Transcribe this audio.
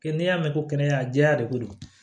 Kɛ n'i y'a mɛn ko kɛnɛjan jɛya de don